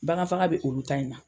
Bagan faga bɛ olu ta in na